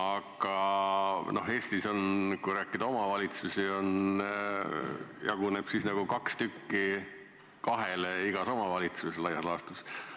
Arvestades Eesti omavalitsuste arvu, jagub toetust igas omavalitsuses laias laastus umbes kahele.